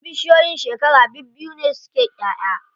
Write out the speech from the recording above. Wasu bishiyoyin shekara bibbiyu ne suke ƴaʼya.